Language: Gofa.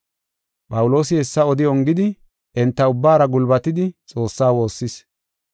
Phawuloosi hessa odi ongidi enta ubbaara gulbatidi Xoossaa woossis.